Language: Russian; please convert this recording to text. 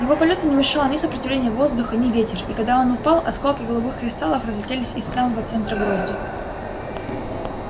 его полёту не мешало ни сопротивление воздуха ни ветер и когда он упал осколки голубых кристаллов разлетелись из самого центра грозди